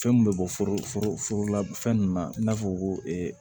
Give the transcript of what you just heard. Fɛn min bɛ bɔ foro la fɛn ninnu na i n'a fɔ ko